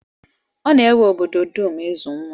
Ọ na-ewe obodo dum ịzụ nwa.